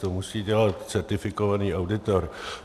To musí dělat certifikovaný auditor.